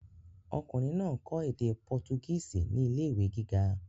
Ọkùnrin náà ń kọ́ èdè pọtugísì ní ilé ìwé gíga.